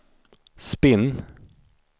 spinn